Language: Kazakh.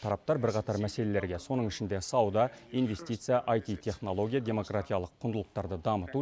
тараптар бірқатар мәселелерге соның ішінде сауда инвестиция аити технология демократиялық құндылықтарды дамыту